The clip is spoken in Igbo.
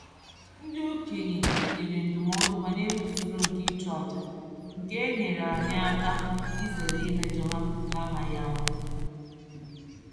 Ndị okenye nyere ndụmọdụ banyere usoro nke ịchụ aja, nke a nyeere anyị aka izeere imejo ha na-amaghị ama.